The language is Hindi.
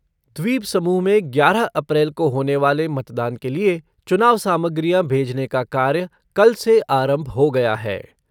द्वीपसमूह में ग्यारह अप्रैल को होने वाले मतदान के लिए चुनाव सामग्रियां भेजने का कार्य कल से आरंभ हो गया है।